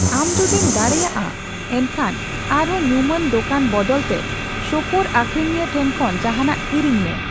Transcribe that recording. ᱟᱢ ᱡᱩᱫᱤᱢ ᱫᱟᱲᱮᱭᱟᱜᱼᱟ, ᱮᱱᱠᱷᱟᱱ ᱟᱨᱦᱚᱸ ᱧᱩᱢᱟᱱ ᱫᱚᱠᱟᱱ ᱵᱚᱫᱚᱞᱛᱮ ᱥᱳᱯᱳᱨ ᱟᱹᱠᱷᱨᱤᱧᱤᱭᱟᱹ ᱴᱷᱮᱱ ᱠᱷᱚᱱ ᱡᱟᱦᱟᱱᱟᱜ ᱠᱤᱨᱤᱧᱢᱮ ᱾